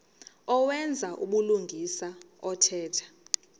owenza ubulungisa othetha